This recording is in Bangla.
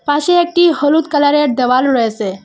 পাশে একটি হলুদ কালারের দেওয়াল রয়েসে।